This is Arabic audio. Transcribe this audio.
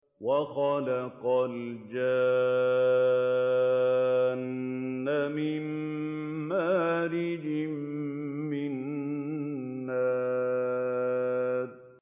وَخَلَقَ الْجَانَّ مِن مَّارِجٍ مِّن نَّارٍ